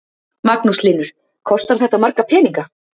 Magnús Hlynur: Kostar þetta marga peninga?